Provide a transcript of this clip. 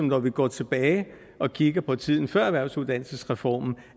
når vi går tilbage og kigger på tiden før erhvervsuddannelsesreformen